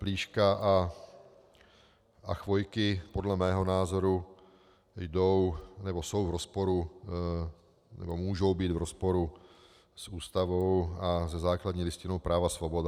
Plíška a Chvojky podle mého názoru jdou nebo jsou v rozporu, nebo můžou být v rozporu s Ústavou a se základní listinou práv a svobod.